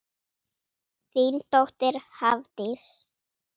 Þín dóttir Hafdís.